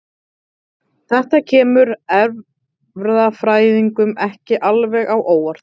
Þetta kemur erfðafræðingum ekki alveg á óvart.